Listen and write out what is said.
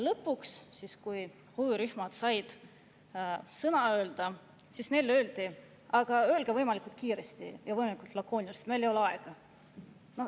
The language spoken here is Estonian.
Lõpuks, kui huvirühmad said oma sõna öelda, siis neile öeldi, et öelge võimalikult kiiresti ja võimalikult lakooniliselt, sest meil ei ole aega.